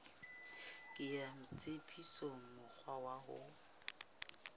kenya tshebetsong mokgwa wa ho